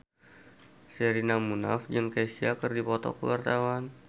Sherina Munaf jeung Kesha keur dipoto ku wartawan